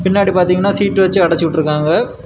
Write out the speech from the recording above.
பின்னாடி பாத்தீங்கன்னா சீட்டு வெச்சி அடச்சி உட்டுருக்காங்க.